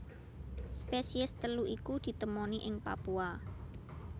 Spesies telu iku ditemoni ing Papua